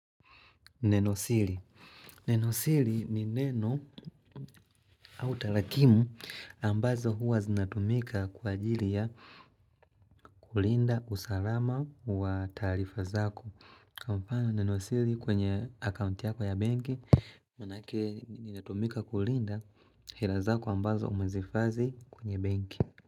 Neno siri. Neno siri ni neno au tarakimu ambazo huwa zinatumika kwa ajili ya kulinda usalama wa tarifa zako. Kwa mfano neno siri kwenye akaunti yako ya benki. Manake inatumika kulinda hela zako ambazo umezihifadhi kwenye benki.